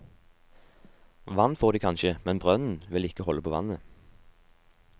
Vann får de kanskje, men brønnen vil ikke holde på vannet.